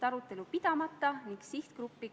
Läheme lõpphääletuse juurde.